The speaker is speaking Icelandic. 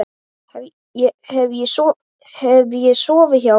Hef ég sofið hjá henni?